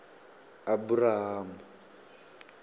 aburam